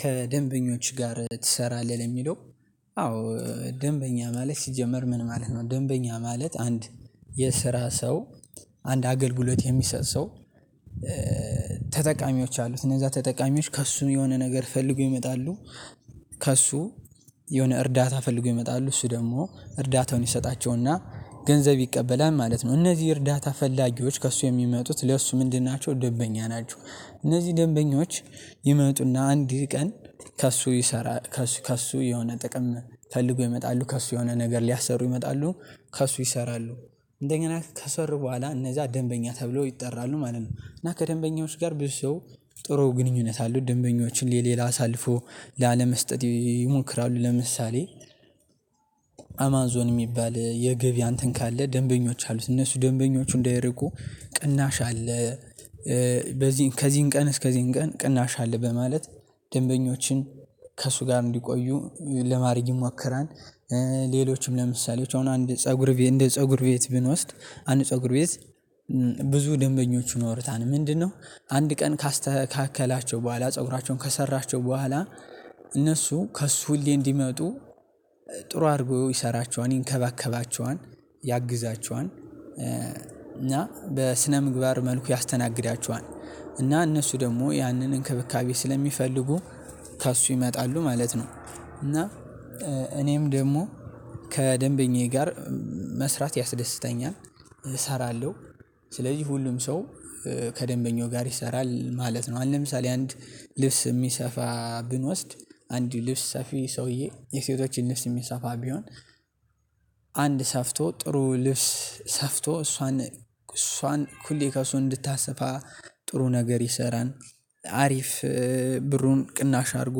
ከደንበኞች ጋር ትሰራለህ ለሚለው? አዎ ደንበኛ ማለት ሲጀመር ምን ማለት ነው ደንበኛ ማለት አንድ የስራ ሰው አንድ አገልግሎት የሚሰጥ ሰው። ተጠቃሚዎች አሉ እነዛ ተጠቃሚዎች ከእሱ የሆነ ነገር ፈልጎ ይመጣሉ። ከእሱ የሆነ እርዳታ ፈልጎ ይመጣሉ እሱ ደግሞ እርዳታውን ይሰጣቸውና ገንዘብ ይቀበላል ማለት ነው። እነዚህ እርዳታ ፈላጊዎች ከእሱ የሚመጡት ለእሱ ምንድን ናቸው ደንበኛ ናቸው። እነዚህ ደንበኞች ይመጡና አንድ ቀን ከእሱ ይሰራ ከእሱ ከእሱ የሆነ ጥቅም ፈልጎ ይመጣሉ ከእሱ የሆነ ነገር ሊያሰሩ ይመጣሉ ከእሱ ይሰራሉ እንደኛ ከሰር በኋላ እነዛ ደንበኛ ተብሎ ይጠራሉ ማለት ነው። እና ከደንበኛው ጋር ብዙ ሰው ጥሩ ግንኙነት አለው ደንበኞችን ለሌላ አሳልፎ ላለመስጠት ይሞክራሉ ለምሳሌ። አማዞን የሚባል የገቢ አንተን ካለ ደንበኞች አሉት እነሱ ደንበኞቹ እንዳይርቁ ቅናሽ አለ። በዚህን ከዚህን ቀን እስከዚህን ቀን ቅናሽ አለ በማለት ደንበኞችን ከእሱ ጋር እንዲቆዩ ለማድረግ ይሞክራል። ሌሎችም ለምሳሌዎች አሁን አንድ ፀጉር ቤት ብንወስድ አንድ ፀጉር ቤት ብዙ ደንበኞቹን ይኖርታል ምንድነው? አንድ ቀን ካስተካከላቸው በኋላ ፀጉራቸውን ከሰራቸው በኋላ እነሱ ከእሱ ሁሌ እንዲመጡ ጥሩ አድርጎ ይሰራቸዋል ይንከባከባቸዋል ያግዛቸዋል እና በስነ ምግባር መልኩ ያስተናግዳችኋል እና እነሱ ደግሞ ያንን እንክብካቤ ስለሚፈልጉ ከእሱ ይመጣሉ ማለት ነው። እና እኔም ደግሞ ከደንበኛዬ ጋር መስራት ያስደስተኛል እሰራለሁ ስለዚህ ሁሉም ሰው ከደንበኛው ጋር ይሰራል ማለት ነው። አንድ ለምሳሌ አንድ ልብስ የሚሰፋ ብንወስድ አንድ ልብስ ሰፊ ሰውዬ የሴቶችን ልብስ የሚሰፋ ቢሆን አንድ ሰፍቶ ጥሩ ልብስ ሰፍቶ እሷን እሷን ሁሌ ከሱ እንድታስፋ ጥሩ ነገር ይሰራል። አሪፍ ብሩን ቅናሽ አድርጎ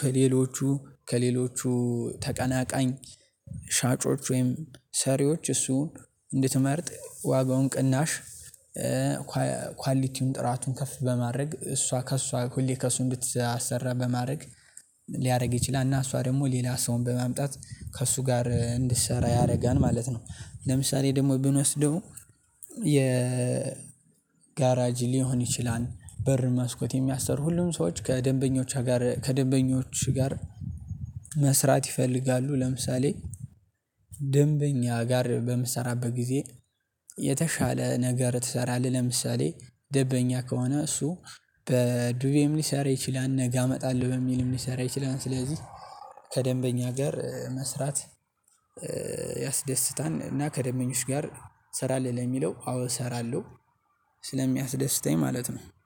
ከሌሎቹ ከሌሎቹ ተቀናቃኝ ሻጮች ወይም ሰሪዎች እሱን እንድትመርጥ ወይ በውን ቅናሽ ኳሊቲውን ጥራቱን ከፍ በማድረግ እሷ ከእሷ ሁሌ ከእሱ እንድትሰራ በማድረግ ሊያደርግ ይችላል። እና እሷ ደግሞ ሌላ ሰውን በማምጣት ከእሱ ጋር እንድትሰራ ያደርጋል ማለት ነው። ለምሳሌ ደግሞ ብንወስደው የ ጋራጅ ሊሆን ይችላል በር መስኮት የሚያሰሩ ሁሉም ሰዎች ከደንበኞች ጋር ከደንበኞች ጋር መስራት ይፈልጋሉ። ለምሳሌ ደንበኛ ጋር በምትሰራበት ጊዜ የተሻለ ነገር ትሰራለህ ለምሳሌ ደንበኛ ከሆነ እሱ በዱቤም ሊሰራ ይችላል ነገ አመጣለሁ በሚልም ሊሰራ ይችላል። ስለዚህ ከደንበኛ ጋር መስራት ያስደስታል እና ከደንበኞች ጋር እሰራለሁ የሚለው አዎ እሰራለሁ ስለሚያስደስተኝ ማለት ነው። አንድ